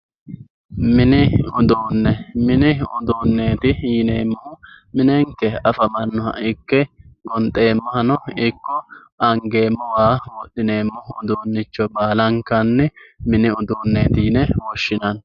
mini uduunne mini uduunneeti yineemmohu minenke afamannoha ikke gonxeemmohano ikko angeemmo waa wodhineemmo uduunnicho baalanka mini uduunneeti yine woshshinanni